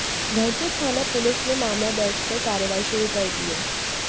धर्मपुर थाना पुलिस ने मामला दर्ज कर कार्रवाई शुरू कर दी है